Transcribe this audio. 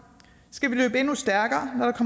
skal vi løbe endnu stærkere